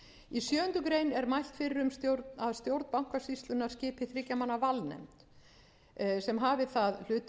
í sjöundu grein er mælt fyrir um að stjórn bankasýslunnar skipi þriggja manna valnefnd sem hafi það hlutverk að